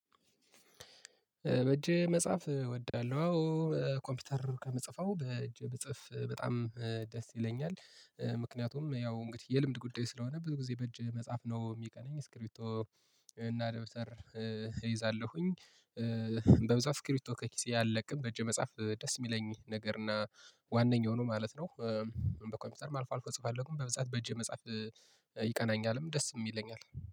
በእጄ መጻፍ እወዳለሁ አወ ኮምፒውተር ከምፅፈው በእጄ ብፅፍ በጣም ደስ ይለኛል ምክንያቱም ያው እንግዲህ የልምድ ጉዳይ ስለሆነ ብዙ ጊዜ በእጅ መጻፍ ነው የሚቀናኝ እስክርቢቶ እና ደብተር እይዛለሁኝ። በብዛት እስክርቢቶ ከኪሴ አለቅም በእጄ መጻፍ ደስ የሚለኝ ነገር እና ዋነኛው ነው ማለት ነው። በኮምፒውተር አልፎ አልፎ እጽፋለሁ በብዛት በእጄ መጻፍ ይቀናኛልም ደስም ይለኛል።